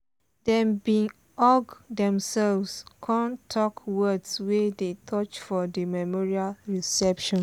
dem bin hug demselves con talk words wey dey touch for the memorial reception.